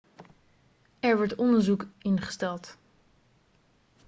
er wordt een onderzoek ingesteld